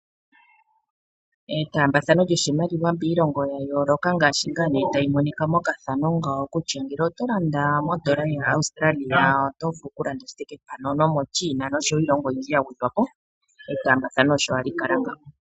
Etaambathano lyoshimaliwa miilongo ya yooloka ngaashi ngaa nee tayi monika mpaka kutya ngele oto landa mondola yaAustralia oto vulu okulanda shithike pamwe, ano moChina osho woo iilongo oyindji yagwedhwako, etaambathano osho hali kala ngaaka.